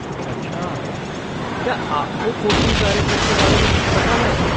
अच्छा, क्या आपको कोचिंग कार्यक्रम के बारे में कुछ पता है?